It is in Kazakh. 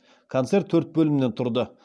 концерт төрт бөлімнен тұрды